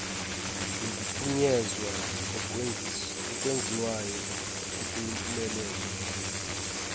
nokuphunyezwa okwenziwayo okuyimpumelelo